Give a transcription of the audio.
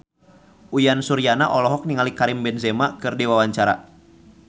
Uyan Suryana olohok ningali Karim Benzema keur diwawancara